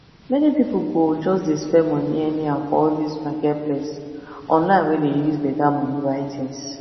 many people go just dey spend money anyhow for all this marketplace online wey dey use better money buy things